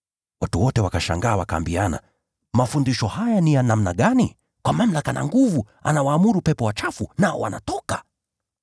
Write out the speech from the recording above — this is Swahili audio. Watu wote wakashangaa, wakaambiana, “Mafundisho haya ni ya namna gani? Anawaamuru pepo wachafu kwa mamlaka na nguvu, nao wanatoka!”